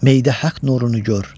Meydə haqq nurunu gör.